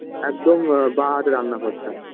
একদম আ বাঁ হাতে রান্না ঘরটা